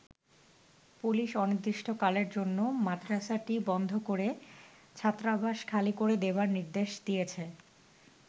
Police অনির্দিষ্টকালের জন্য মাদ্রাসাটি বন্ধ করে ছাত্রাবাস খালি করে দেবার নির্দেশ দিয়েছে।